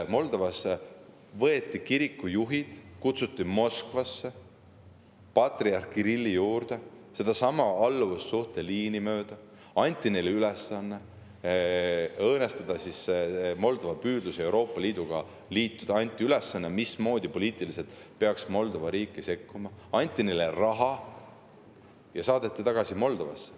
Moldovas kutsuti kirikujuhid Moskvasse patriarh Kirilli juurde sedasama alluvussuhte liini mööda, anti neile ülesanne õõnestada Moldova püüdlusi Euroopa Liiduga liituda, anti ülesanne, mismoodi peaks poliitiliselt Moldova riiki sekkuma, anti neile raha ja saadeti tagasi Moldovasse.